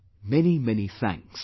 Many, many thanks